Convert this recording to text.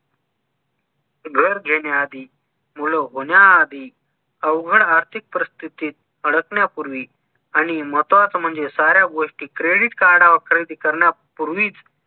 घर घेण्याआधी मूल होण्याआधी अवघड आर्थिक परिस्थीतीत अडकण्यापूर्वी आणि महत्वाचं म्हणजे साऱ्या गोष्टी credit card वर खरेदी करण्यापूर्वीच